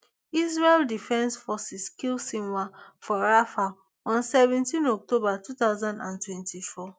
israel defence forces kill sinwar for rafah on seventeen october two thousand and twenty-four